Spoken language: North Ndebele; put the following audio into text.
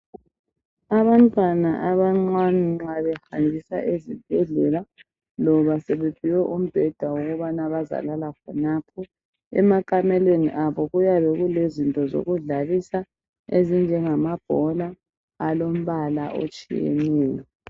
Abantwana abancane nxa behanjiswa ezibhedlela loba sebephiwe umbeda wokubana bazalala khonapho emakamelweni abo kuyabe kulezinto zokudlalisa ezinjengamabhola alombala otshiyeneyo.